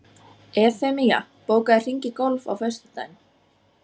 Evfemía, bókaðu hring í golf á föstudaginn.